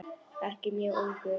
Ekki mjög ungur.